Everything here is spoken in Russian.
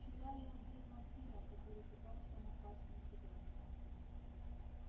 вчера я убил вампира который пытался напасть на тебя